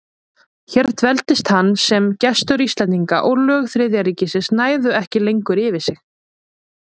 Hér dveldist hann sem gestur Íslendinga, og lög Þriðja ríkisins næðu ekki lengur yfir sig.